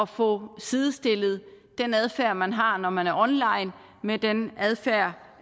får sidestillet den adfærd man har når man er online med den adfærd